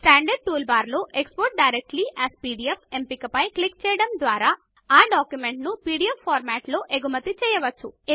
standard tool bar లో export directly as PDF ఎంపిక పైన క్లిక్ చేయడము ద్వారా ఆ డాక్యుమెంట్ ను పీడీఎఫ్ ఫార్మాట్లో ఎగుమతి చేయవచ్చు